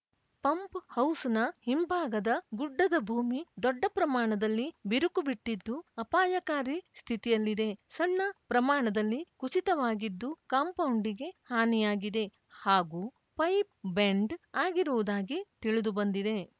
pump ಹೌಸ್‌ನ ಹಿಂಭಾಗದ ಗುಡ್ಡದ ಭೂಮಿ ದೊಡ್ಡ ಪ್ರಮಾಣದಲ್ಲಿ ಬಿರುಕು ಬಿಟ್ಟಿದ್ದು ಅಪಾಯಕಾರಿ ಸ್ಥಿತಿಯಲ್ಲಿದೆ ಸಣ್ಣ ಪ್ರಮಾಣದಲ್ಲಿ ಕುಸಿತವಾಗಿದ್ದು ಕಾಂಪೌಂಡಿಗೆ ಹಾನಿಯಾಗಿದೆ ಹಾಗೂ ಪೈಪ್‌ ಬೆಂಡ್‌ ಆಗಿರುವುದಾಗಿ ತಿಳಿದು ಬಂದಿದೆ